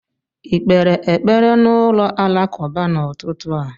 ị kpere ekpere n'ụlọ alakụba n'ụtụtụ a?